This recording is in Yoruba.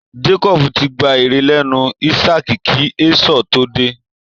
Jacob ti gba ire lẹ́nu ísákì kí Esau tó dé